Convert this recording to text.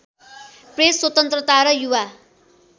press स्वतन्त्रता र युवा